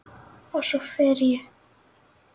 Og svo fer ég.